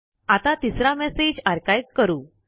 आता तिसरा message archive करू